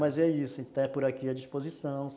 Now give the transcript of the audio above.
Mas é isso, a gente está por aqui à disposição.